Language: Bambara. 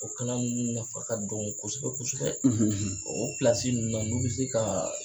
O kalan ninnu nafa ka dɔgɔ kosɛbɛ kosɛbɛ o na ninnu na n'u bi se kaa